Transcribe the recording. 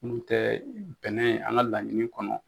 N'u tɛ bɛnɛ an ka laɲini kɔnɔ